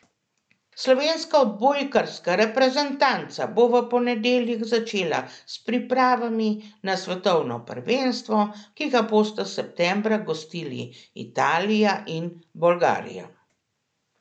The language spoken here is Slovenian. Slovenska odbojkarska reprezentanca bo v ponedeljek začela s pripravami na svetovno prvenstvo, ki ga bosta septembra gostili Italija in Bolgarija.